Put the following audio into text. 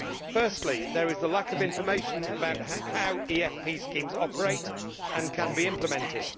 Firstly, there is a lack of information about how EFP schemes operate and can be implemented.